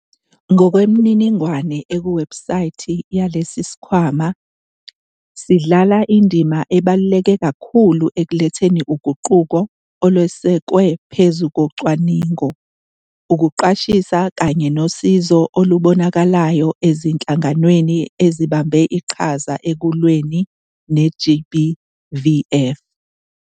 Ngokwemininingwane ekuwebhusayithi yalesi sikhwama, sidlala indima ebaluleke kakhulu ekuletheni uguquko, olwesekwe phezu kocwaningo, ukuqwashisa kanye nosizo olubonakalayo ezinhlanganweni ezibambe iqhaza ekulweni ne-GBVF.